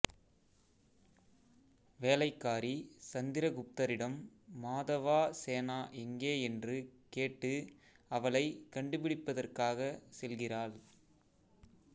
வேலைக்காரி சந்திரகுப்தரிடம் மாதவாசேனா எங்கே என்று கேட்டு அவளைக் கண்டுபிடிப்பதற்காக செல்கிறாள்